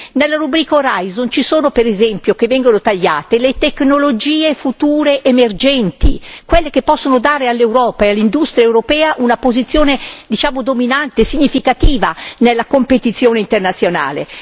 Nella rubrica Horizon ci sono per esempio, che vengono tagliate, le tecnologie future emergenti, quelle che possono dare all'Europa e all'industria europea una posizione, diciamo, dominante, significativa nella competizione internazionale.